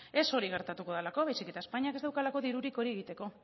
ez hori gertatuko delako baizik eta espainiak ez daukalako dirurik hori egiteko